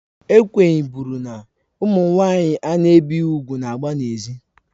Ekwenye bụrụ na: Ụmụ nwanyị a na-ebighị úgwù na-agba na ezi.